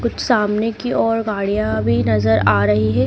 कुछ सामने की ओर गाड़ियां भी नजर आ रही है।